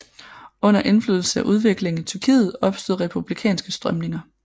Under indflydelse af udviklingen i Tyrkiet opstod republikanske strømninger